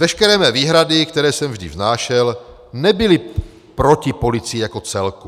Veškeré mé výhrady, které jsem vždy vznášel, nebyly proti policii jako celku.